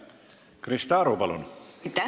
Krista Aru, palun!